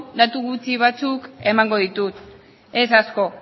datu gutxi batzuk emango ditut ez asko